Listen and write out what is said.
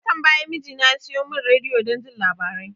Watan baya mijina ya siyo mun rediyo don jin labarai